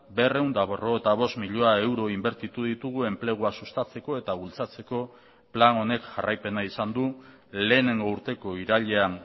berrehun eta berrogeita bost milioi euro inbertitu ditugu enplegua sustatzeko eta bultzatzeko plan honek jarraipena izan du lehenengo urteko irailean